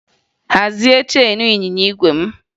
Hazie cheenu ịnyịnya igwe m!